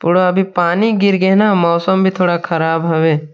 थोड़ा अभी पानी गिर गे हे न मौसम भी थोड़ा ख़राब हावे।